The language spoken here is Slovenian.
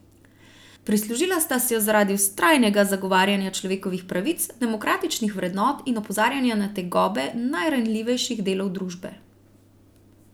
Prislužila sta si jo zaradi vztrajnega zagovarjanja človekovih pravic, demokratičnih vrednot in opozarjanja na tegobe najranljivejših delov družbe.